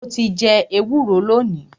Mo ti jẹ ẹwúro lónìí.